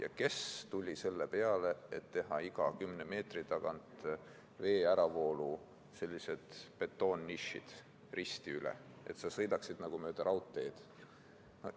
Aga kes tuli selle peale, et teha iga 10 meetri tagant risti üle raja veeäravoolu betoonnišid, et sa sõidaksid nagu mööda raudteed?